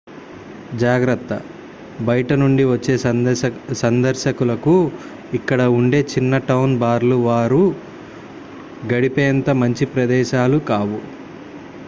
జాగ్రత్త బయటి నుండి వచ్చే సందర్శకులకు ఇక్కడ ఉండే చిన్న టౌన్ బార్లు వారు గడిపేంత మంచి ప్రదేశాలు కావు